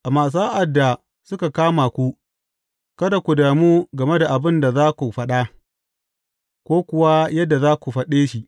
Amma sa’ad da suka kama ku, kada ku damu game da abin da za ku faɗa ko kuwa yadda za ku faɗe shi.